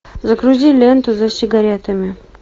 загрузи ленту за сигаретами